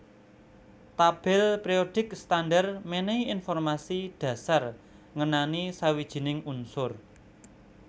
Tabèl périodik standar mènèhi informasi dhasar ngenani sawijining unsur